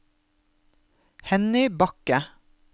Henny Bakke